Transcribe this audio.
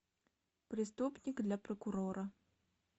преступник для прокурора